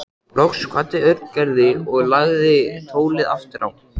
Loks kvaddi Örn Gerði og lagði tólið aftur á.